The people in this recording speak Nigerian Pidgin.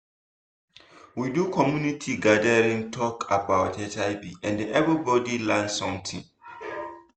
we do community gathering talk about hiv and everybody learn something.